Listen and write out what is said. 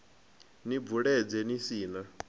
ni bvuledze ni si na